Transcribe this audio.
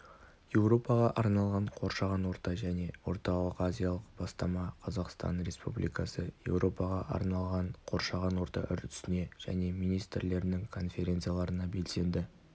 еуропаға арналған қоршаған орта және орталық-азиялық бастама қазақстан республикасы еуропаға арналған қоршаған орта үрдісіне және министрлерінің конференцияларына белсенді